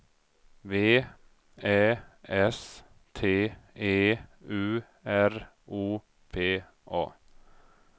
V Ä S T E U R O P A